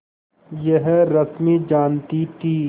यह रश्मि जानती थी